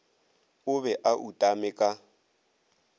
o be a utame ka